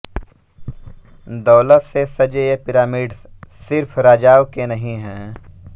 दौलत से सजे ये पिरामिड्स सिर्फ राजाओं के नहीं हैं